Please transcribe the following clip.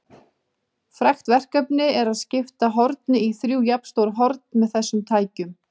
Frægt verkefni er að skipta horni í þrjú jafnstór horn með þessum tækjum.